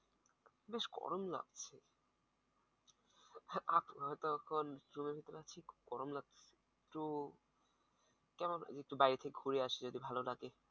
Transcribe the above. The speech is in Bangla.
বেশ গরম লাগছে গরম লাগছে তো কেন একটু বাইরে থেকে ঘুরে আসি যদি ভালো লাগে।